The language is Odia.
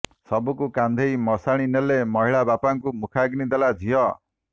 ଶବକୁ କାନ୍ଧେଇ ମଶାଣି ନେଲେ ମହିଳା ବାପାଙ୍କୁ ମୁଖାଗ୍ନି ଦେଲା ଝିଅ